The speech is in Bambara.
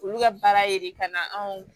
Olu ka baara ye de ka na anw